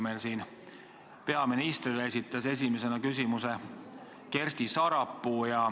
See oli siis, kui Kersti Sarapuu esitas küsimuse esimesena peaministrile.